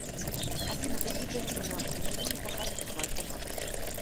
афина какие тарифы на обслуживание по карте в альфа банке